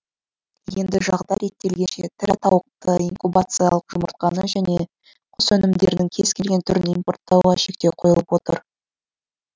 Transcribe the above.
енді жағдай реттелгенше тірі тауықты инкубациялық жұмыртқаны және құс өнімдерінің кез келген түрін импорттауға шектеу қойылып отыр